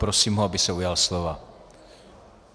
Prosím ho, aby se ujal slova.